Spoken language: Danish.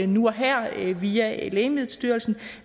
nu og her via lægemiddelstyrelsen